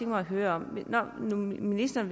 mig at høre når nu ministeren